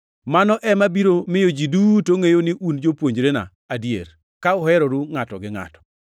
Mano ema biro miyo ji duto ngʼeyo ni un jopuonjrena adier, ka uheroru ngʼato gi ngʼato.”